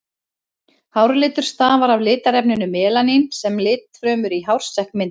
Hárlitur stafar af litarefninu melanín sem litfrumur í hársekk mynda.